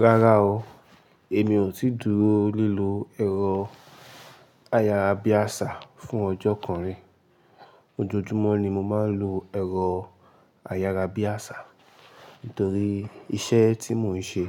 Rárá o, èmi ò tíì dúró lílo ẹ̀rọ ayárabíàṣá fún ọjọ́ kan rí. Ojoojúmọ́ ni mo máa ń lo ẹ̀rọ ayárabíàṣá nítorí iṣẹ́ tí mò ń ṣe